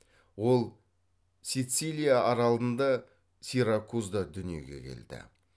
ол сицилия аралында сиракузда дүниеге келді